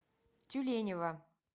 тюленева